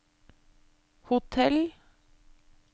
hotell